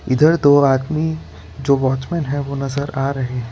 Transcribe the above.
इधर दो आदमी जो वॉचमैन है वो नजर आ रहे हैं।